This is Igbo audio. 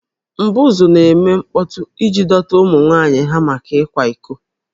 M̀bụ̀zú na-eme mkpọtụ iji dọta ụmụ nwanyị ha maka ịkwa iko